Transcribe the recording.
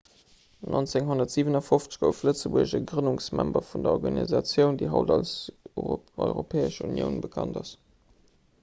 1957 gouf lëtzebuerg e grënnungsmember vun der organisatioun déi haut als europäesch unioun bekannt ass